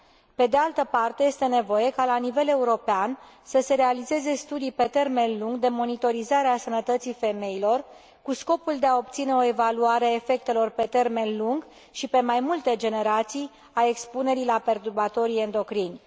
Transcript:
Pe de altă parte, este nevoie ca, la nivel european, să se realizeze studii pe termen lung de monitorizare a sănătății femeilor, cu scopul de a obține o evaluare a efectelor pe termen lung și pe mai multe generații a expunerii la perturbatorii endocrini.